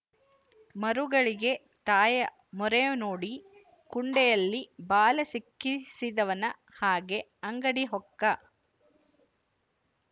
ಮರುಗಳಿಗೆ ತಾಯ ಮೋರೆ ನೋಡಿ ಕುಂಡೆಯಲ್ಲಿ ಬಾಲ ಸಿಕ್ಕಿಸಿದವನ ಹಾಗೆ ಅಂಗಡಿ ಹೊಕ್ಕ